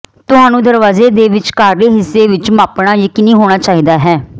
ਤੁਹਾਨੂੰ ਦਰਵਾਜੇ ਦੇ ਵਿਚਕਾਰਲੇ ਹਿੱਸੇ ਵਿੱਚ ਮਾਪਣਾ ਯਕੀਨੀ ਹੋਣਾ ਚਾਹੀਦਾ ਹੈ